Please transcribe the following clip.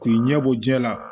K'i ɲɛbɔ jɛgɛ la